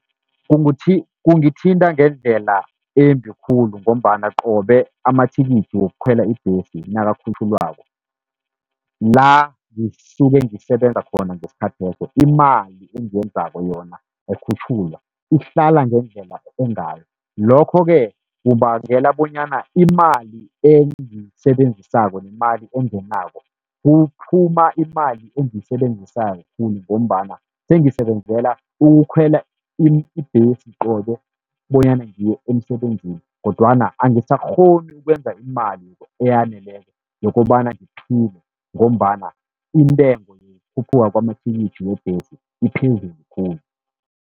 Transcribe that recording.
Kungithinta ngendlela embi khulu, ngombana qobe amathikithi wokukhwela ibhesi nakakhutjhulwako, la ngisuke ngisebenza khona ngesikhatheso imali engiyenzako yona ayikhutjhulwa, ihlala ngendlela engayo. Lokho-ke kubangela bonyana imali engiyisebenzisako nemali engenako, kuphuma imali engiyisebenzisa khulu ngombana sengisebenzela ukukhwela ibhesi, qobe bonyana ngiye emsebenzini. Kodwana angisakghoni ukwenza imali eyaneleko yokobana ngiphile, ngombana intengo yokukhuphuka kwamathikithi webhesi iphezulu khulu.